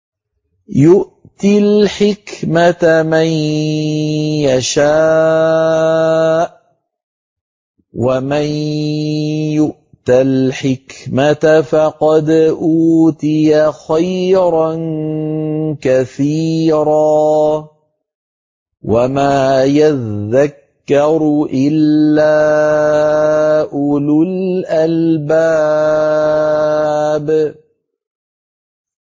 يُؤْتِي الْحِكْمَةَ مَن يَشَاءُ ۚ وَمَن يُؤْتَ الْحِكْمَةَ فَقَدْ أُوتِيَ خَيْرًا كَثِيرًا ۗ وَمَا يَذَّكَّرُ إِلَّا أُولُو الْأَلْبَابِ